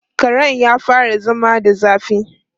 Karen ya fara zama da zafi.